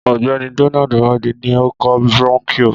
Ọ̀gbẹ́ni Donald Amadi ní ó kọ brónkíò